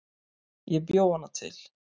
Ég bjó hana til